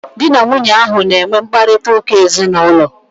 Dị na nwunye ahu na enwe mkparịta ụka ezinaụlọ